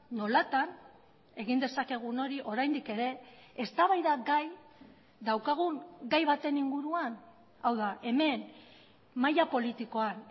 nolatan egin dezakegun hori oraindik ere eztabaidagai daukagun gai baten inguruan hau da hemen maila politikoan